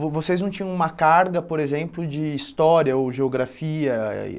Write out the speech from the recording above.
Vo vocês não tinham uma carga, por exemplo, de história ou geografia?